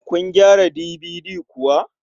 Kun gyara DVD kuwa?